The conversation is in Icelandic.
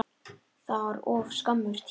Það var of skammur tími.